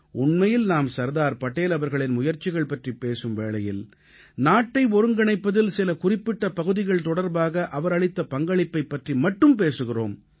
உண்மையில் நாம் சர்தார் படேல் அவர்களின் முயற்சிகள் பற்றிப் பேசும் வேளையில் நாட்டை ஒருங்கிணைப்பதில் சில குறிப்பிட்ட பகுதிகள் தொடர்பாக அவர் அளித்த பங்களிப்பைப் பற்றி மட்டும் பேசுகிறோம்